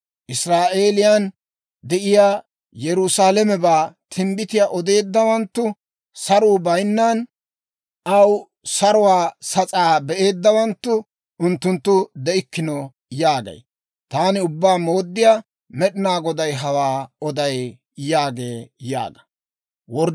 Israa'eeliyaan de'iyaa, Yerusaalamebaa timbbitiyaa odeeddawanttu, saruu bayinnan aw saruwaa sas'aa be'eeddawanttu, unttunttu de'ikkino› yaagay. Taani Ubbaa Mooddiyaa Med'inaa Goday hawaa oday» yaagee yaaga.